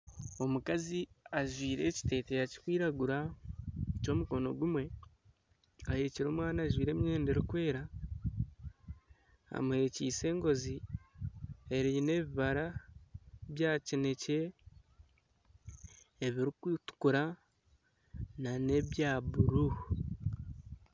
Omukazi ajwire ekiteteyi kiri kwiragura ky'omukono gumwe ahekiire omwana ajwire emwenda erikwera, amu hekiise engozi eine ebibara bya kinekye ebiri kutukura na ne bya buru.